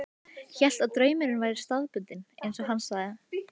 Hélt að draumurinn væri staðbundinn, eins og hann sagði.